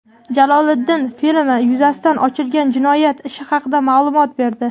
Jaloliddin filmi yuzasidan ochilgan jinoyat ishi haqida ma’lumot berdi.